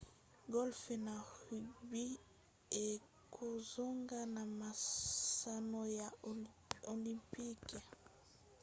golfe na rugby ekozonga na masano ya olympique